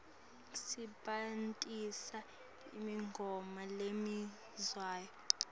sebentisa imigomo lemisiwe